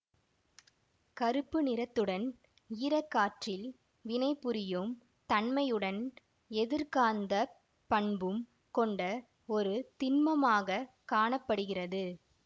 கருப்பு நிறத்துடன் ஈரக்காற்றில் வினைபுரியும் தன்மையுடன் எதிர்காந்த பண்பும் கொண்ட ஒரு திண்மமாக காண படுகிறது